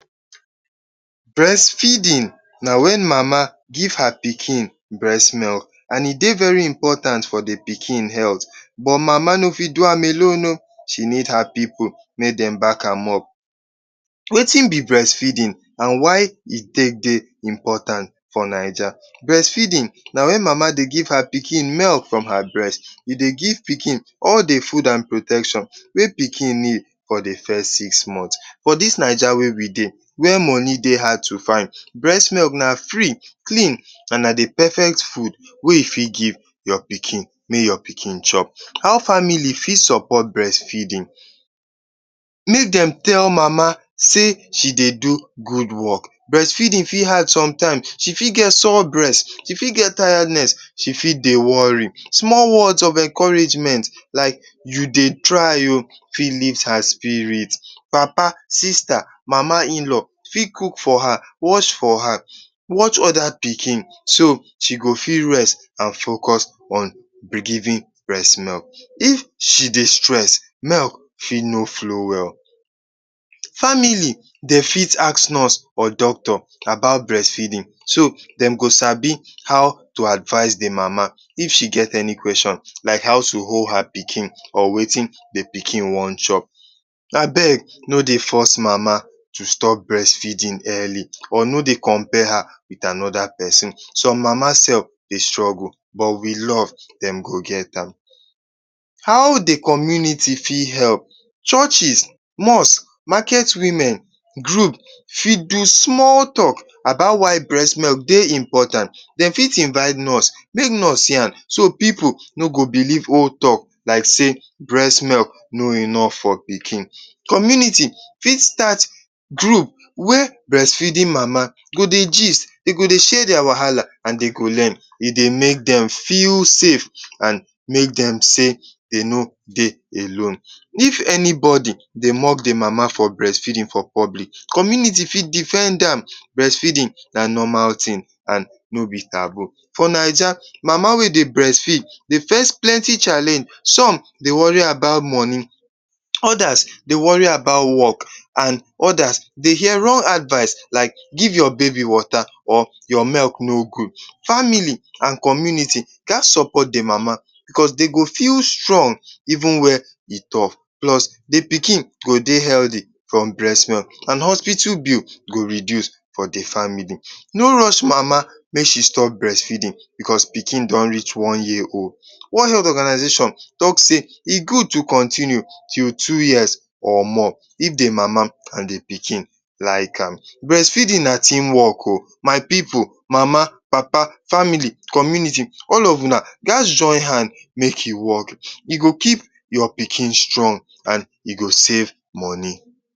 Brest feedin na wen mama give her pikin brest milk. And e dey very important for the pikin health but mama no fit do am alone o, she need her pipu mey dem back am up. Wetin be brest feedin and why e take dey important for Naija? Brest feedin na wen mama dey give her pikin brest, e dey give pikin all the fud and protection wey pikin need for the first six monhth. For dis Naija wey we dey where moni dey hard to find, brest milk na free, clean and na the perfect fud wey you fit give your pikin make your pikin chop. How family fit sopot brest feeding? Make dem tell mam sey she dey do good work. Brest fee din fit hard somtime, she fit get sour brest, she fit get tired, she fit dey wori, small word of encouragement fit lift her spirit. Papa, sister, mama in-law fit cook for her, wash for her, watch oda pikin so dat she go fit rest and focus on be givin brest milk. If she dey stress, milk fit no flow well. Family de fit ask nurse or doctor about brest feeding. So dem go sabi how to advice the mama if she get any question like how to hold her pikin and wetin the epikin wan chop? Abeg no dey force mama to stop brest feedin earli or no dey compare her with anoda pesin. Mama self dey struggle but with love dem go get am. How the community fit help? Churches, mosques, maket women group fit do small work about why brest milk dey important. Dem fit invite nurse, nurse see am so pipu no go belief old talk like sey, brest milk no enough for pikin. Community fit start group wey brest feedin mama de go dey gist, de go dey share dia wahala and de go learn, e dey make dem feel safe and make dem sey de no dey alone. If anybody dey mock the mama for brest feedin for public, community fit defend am, brest feedin na normal tin and no be taboo. For Naija, mama wey dey brest feed dey face plenty challenge, som dey wori about moni, odas dey wori about work and odas dey hear rong advice like, give your baby wota or your milk no gud. Family and community ghas sopot the mama, de go feel strong even wen e tough. The pikin go dey healthy from brest milk, and hospital bill go reduce for the family, no rush mama make she stop brest feedin because pikin don rich one year old. World health organization talk sey, e gud to continue till two years or more if the mama and the pikin like am. Brest feedin na team work o, mama, papa, family, community all of una ghas join hand make e work, e go keep your pikin strong and e go save moni.